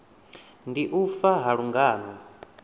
ndi u fa ha lungano